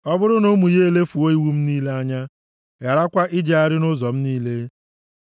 “Ọ bụrụ na ụmụ ya elefuo iwu m niile anya, gharakwa ijegharị nʼụzọ m niile,